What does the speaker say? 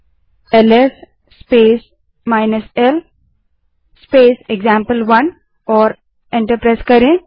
अब L S space l space example1टाइप करें और एंटर दबायें